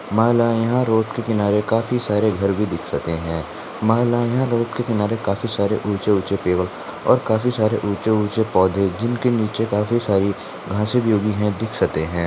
माला या रोड के किनारे काफी सारे घर भी दिखसते है माला या रोड के किनारे काफी सारे ऊंचे ऊंचे पेड़ और काफी सारे ऊंचे ऊंचे पौधे जिनके नीचे काफी सारी घासे भी उगी है दीखसते है।